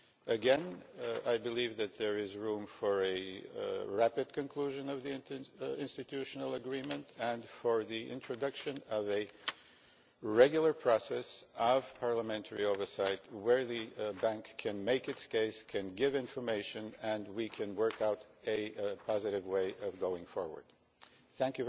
Again, I believe that there is room for a rapid conclusion of the interinstitutional agreement and for the introduction of a regular process of parliamentary oversight, where the Bank can make its case and give information and we can work out a positive way of going forward. I would like to thank